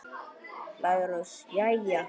LÁRUS: Jæja!